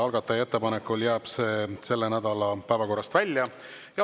Algataja ettepanekul jääb see selle nädala päevakorrast välja.